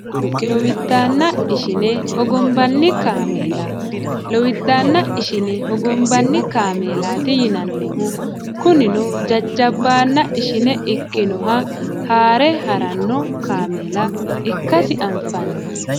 lowiddaanna ishine hogombanni kaameela lowiddaanna ishine hogombanni kaameelaati yinannihu kunino jajjabbaanna ishine ikkinoha haare haranno kaameela ikkasi anfanni